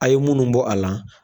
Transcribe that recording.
A ye munnu bɔ a la.